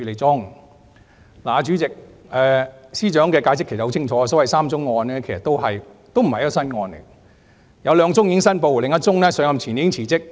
主席，司長的解釋其實很清楚，所謂的3宗案件，其實也不是新案件，有兩宗已經申報，另一宗上任前已經辭職。